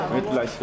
Mütləq söyləyin.